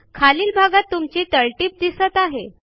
खालील भागात तुमची तळटीप दिसत आहे